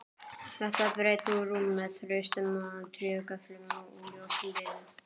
Þetta er breitt rúm með traustum trégöflum úr ljósum viði.